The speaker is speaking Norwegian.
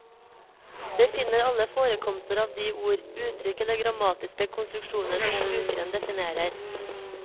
Det finner alle forekomster av de ord, uttrykk eller grammatiske konstruksjoner som brukeren definerer.